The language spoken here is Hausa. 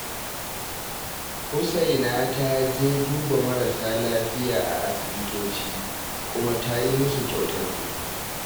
Husaina ta je duba marasa lafiya a asibitoci, kuma ta yi musu kyautar kuɗi